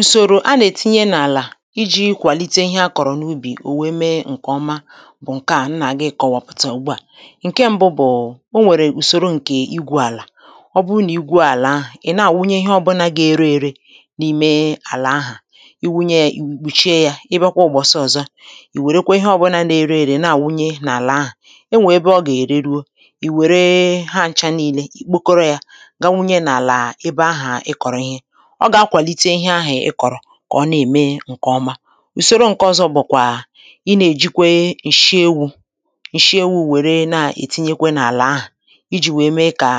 ùsòrò a na-etinye n’àlà iji̇ kwàlite ihe a kọ̀rọ̀ n’ubì ò wee mee ǹkè ọma bụ̀ ǹke a nà-àgị kọ̀wàpụ̀tà ugbu à ǹke mbụ bụ̀ o nwèrè ùsòro ǹkè igwu àlà ọ bụ nà igwu àlà ahụ̀ ị̀ nà-àwụnye ihe ọ̇bȧnȧ gà-ere ere n’ime àlà ahà i wunye yȧ ì kpùchie yȧ ebe ọ kwaụ̀gbọ̀ sọ̀zọ ì wèrèkwȧ ihe ọ̇bȧnȧ nà-ere ere nà-àwụnye n’àlà ahụ̀ e nwèrè ebe ọ gà-ère ruo ì wère ha ncha niilė ì kpokoro yȧ gaa wụnye n’àlà ebe ahà ị kọ̀rị kà ọ na-ème ǹkèọma ùsòro ǹkèọzo bụ̀kwà i na-èjikwe ǹshị ewu̇ ǹshị ewu̇ nwère na-ètinyekwe n’àlà ahụ̀ iji̇ wèe mee kà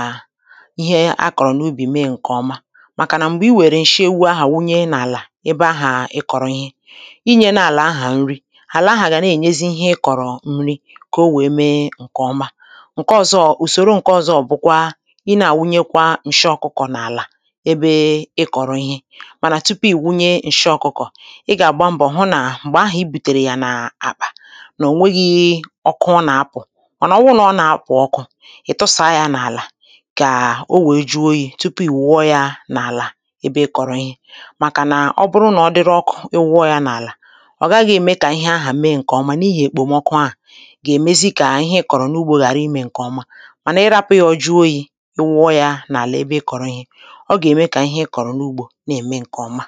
ihe akọ̀rọ̀ n’ubì mee ǹkèọma màkà nà m̀gbè i wèrè ǹshị ewu̇ ahà wunye n’àlà ebe ahà ị kọ̀rọ̀ ihe inyė na-àlà ahà nri àlà ahà gà na-ènyezi ihe ịkọ̀rọ̀ nri kà o wèe mee ǹkèọma ǹkèọma ùsòro ǹkèọzo bụ̀kwa i na-àwunyekwa ǹshị ọkụkọ̀ n’àlà àlà manà tupu ì wunye ǹshị ọkụkọ̀ ị gà-àgba mbọ̀ hụ nà m̀gbè ahụ̀ i bùtèrè yà n’àkpà nà ò nweghi̇ ihe ọkụ ọ nà-apụ̀ ọ nà-ọwụ nà ọ nà-apụ̀ ọkụ̇ ị̀ tụsàa yȧ n’àlà kàà o wèe juo oyi̇ tupu ì wụọ yȧ n’àlà ebe i kọ̀rọ̀ ihe màkà nà ọ bụrụ nà ọdịrụ ọkụ ị wụọ yȧ n’àlà ọ gaghị̇ ème kà ihe ahụ̀ mee ǹkè ọma nà ihė èkpòmọkụ ahụ̀ gà-èmezi kà ihe ị kọ̀rọ̀ n’ugbȯ ghàra imė ǹkè ọma mànà i rapụ̇ ya ọ ju oyi̇ i wụọ yȧ n’àlà ebe i kọ̀rọ̀ ihe ọ gà-ème kà ihe i kọ̀rọ̀ n’ugbȯ nà-ème ǹkè ọma